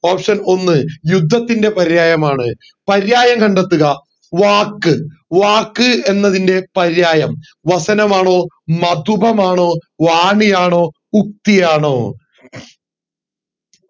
option ഒന്ന് യുദ്ധത്തിന്റെ പര്യായമാണ് പര്യായം കണ്ടെത്തുക വാക്ക് വാക്ക് എന്നതിൻറെ പര്യായം വാസനമാണോ മധുപമാണോ വാണിയാണോ ഉക്തിയാണോ